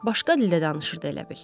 Başqa dildə danışırdı elə bil.